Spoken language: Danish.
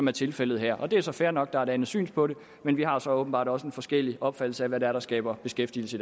er tilfældet her det er så fair nok at der er et andet syn på det men vi har så åbenbart også en forskellig opfattelse af hvad det er der skaber beskæftigelse